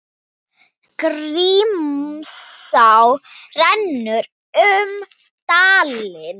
Grímsá rennur um dalinn.